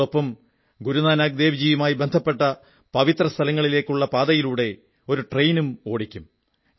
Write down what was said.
ഇതോടൊപ്പം ഗുരുനാനക് ദേവ് ജിയുമായി ബന്ധപ്പെട്ട പവിത്ര സ്ഥലങ്ങളിലേക്കുള്ള പാതയിലൂടെ ഒരു ട്രെയിനും ഓടിക്കും